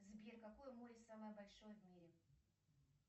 сбер какое море самое большое в мире